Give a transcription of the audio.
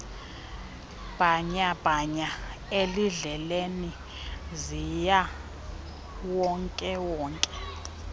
bhanyabhanya ezindleleni zikawonkewonke